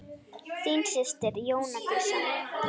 Þín systir Jóna Dísa.